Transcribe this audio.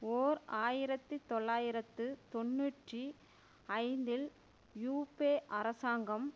ஓர் ஆயிரத்தி தொள்ளாயிரத்து தொன்னூற்றி ஐந்தில் யூப்பே அரசாங்கம்